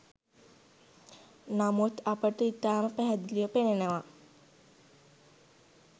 නමුත් අපට ඉතාම පැහැදිලිව පෙනෙනවා